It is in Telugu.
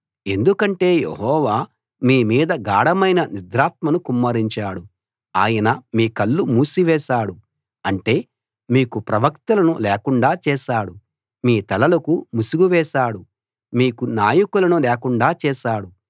ఎందుకంటే యెహోవా మీ మీద గాఢమైన నిద్రాత్మను కుమ్మరించాడు ఆయన మీ కళ్ళు మూసివేశాడు అంటే మీకు ప్రవక్తలను లేకుండా చేశాడు మీ తలలకు ముసుగు వేశాడు మీకు నాయకులను లేకుండా చేశాడు